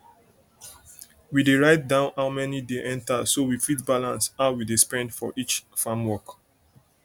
we dey write down how money dey enter so we fit balance how we dey spend for each farm work